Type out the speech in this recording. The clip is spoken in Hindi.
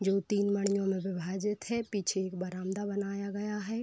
जो तीन मणियों में विभाजित हैं। पीछे एक बरामदा बनाया गया है।